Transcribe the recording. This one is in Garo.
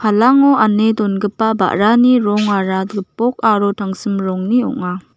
palango ane dongipa ba·rani rongara gipok aro tangsim rongni ong·a.